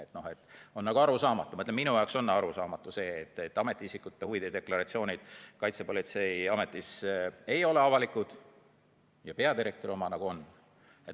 Minu jaoks on arusaamatu see, et Kaitsepolitseiameti muude ametiisikute huvide deklaratsioonid ei ole avalikud, aga peadirektori oma on.